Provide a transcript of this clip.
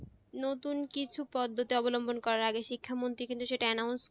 নতুন কিছু পদ্ধতি অবলম্বন করার আগে শিক্ষা মন্ত্রি কিন্তু সেটা announce